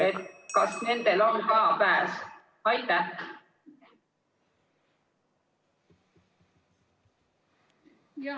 , siis kas nendel on ka sissepääs perepiletiga.